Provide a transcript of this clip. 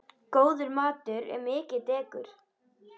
Góður matur er mikið dekur.